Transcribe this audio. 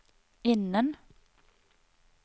innen